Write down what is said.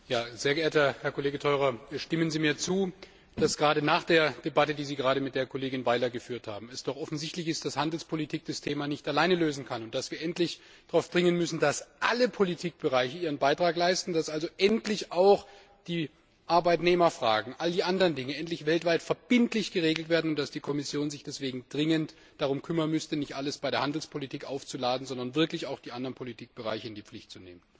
Sehr geehrter Herr Kollege Theurer, stimmen Sie mir zu, dass gerade nach der Debatte, die Sie mit der Kollegin Weiler geführt haben, es doch offensichtlich ist, dass Handelspolitik das Thema nicht alleine lösen kann und dass wir endlich darauf drängen müssen, dass alle Politikbereiche ihren Beitrag leisten, dass also endlich auch die Arbeitnehmerfragen und all die anderen Dinge weltweit verbindlich geregelt werden, und dass die Kommission sich deswegen dringend darum kümmern müsste, nicht alles der Handelspolitik aufzuladen, sondern wirklich auch die anderen Politikbereiche in die Pflicht zu nehmen?